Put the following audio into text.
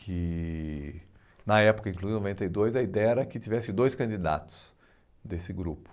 que na época, inclusive em noventa e dois, a ideia era que tivesse dois candidatos desse grupo.